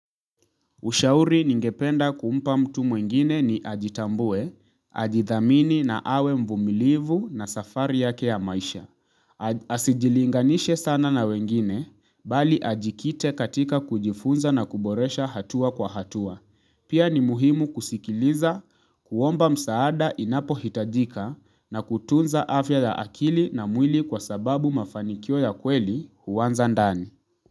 Ushauri ningependa kumpa mtu mwingine ni ajitambue, ajithamini na awe mvumilivu na safari yake ya maisha. Asijilinganishe sana na wengine, bali ajikite katika kujifunza na kuboresha hatua kwa hatua. Pia ni muhimu kusikiliza, kuomba msaada inapohitajika na kutunza afya ya akili na mwili kwa sababu mafanikio ya kweli huanza ndani.